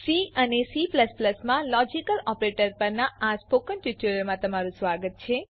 C અને C માં logical operator પરનાં સ્પોકન ટ્યુટોરીયલમાં સ્વાગત છે